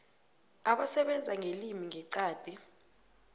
abasebenza ngelimi ngeqadi